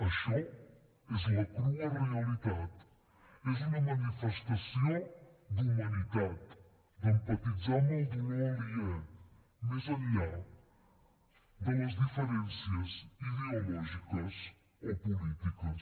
això és la crua realitat és una manifestació d’humanitat d’empatitzar amb el dolor aliè més enllà de les diferències ideològiques o polítiques